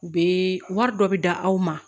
U bɛ wari dɔ bi d'aw ma